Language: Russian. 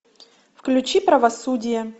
включи правосудие